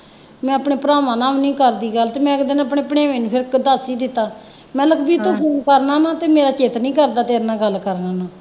ਮੈਂਂ ਆਪਣੇ ਭਰਾਵਾਂ ਨਾਲ ਵੀ ਨਹੀਂ ਕਰਦੀ ਗੱਲ ਅਤੇ ਮੈਂ ਇੱਕ ਦਿਨ ਆਪਣੇ ਭਣੇਵੇਂ ਨੂੰ ਫੇਰ ਦੱਸ ਹੀ ਦਿੱਤਾ, ਮੈ ਕਿਹਾ ਲੱਕੀ ਤੂੰ ਫੋਨ ਕਰਦਾ ਹੁੰਦਾ ਅਤੇ ਮੇਰਾ ਚਿੱਤ ਨਹੀਂ ਕਰਦਾ ਤੇਰੇ ਨਾਲ ਗੱਲ ਕਰਨ ਨੂੰ